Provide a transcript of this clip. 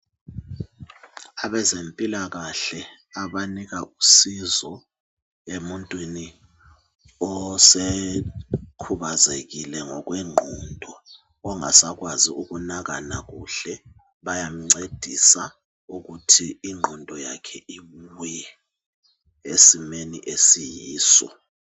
Abezempilakahle abanika usizo emuntwini osekhubazelile ngokwenqondo, ongasakwazi ukunakana kuhle. Bayemncedisa ukuthi ingqondo yakhe ibuye esimeni esiyiso.